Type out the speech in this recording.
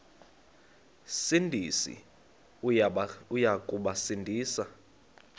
sindisi uya kubasindisa